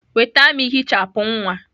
Nweta m ehichapụ nwa!